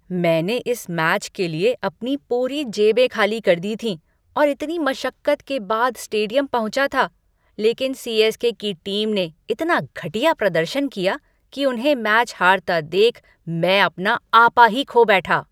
मैंने इस मैच के लिए अपनी पूरी जेबें खाली कर दी थीं और इतनी मशक्कत के बाद स्टेडियम पहुंचा था, लेकिन सी.एस.के. की टीम ने इतना घटिया प्रदर्शन किया कि उन्हें मैच हारता देख मैं अपना आपा ही खो बैठा।